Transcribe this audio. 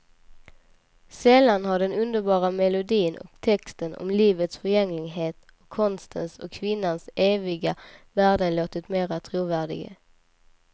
Sällan har den underbara melodin och texten om livets förgängligheten och konstens och kvinnans eviga värden låtit mera trovärdig.